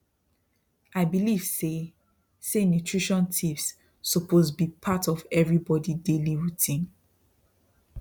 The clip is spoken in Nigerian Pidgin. i believe say say nutrition tips suppose be part of everybody daily routine